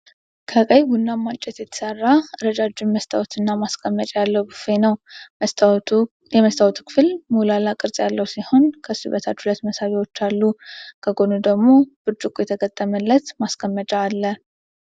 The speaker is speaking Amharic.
ከቀይ-ቡናማ እንጨት የተሰራ ረጃጅም መስታወትና ማስቀመጫ ያለው ብፌ ነው። የመስታወቱ ክፍል ሞላላ ቅርጽ ያለው ሲሆን፣ ከሱ በታች ሁለት መሳቢያዎች አሉ። ከጎኑ ደግሞ ብርጭቆ የተገጠመለት ማስቀመጫ አለ።